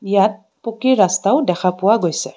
ইয়াত পকী ৰস্তাও দেখা পোৱা গৈছে.